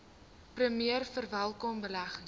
premier verwelkom beleggings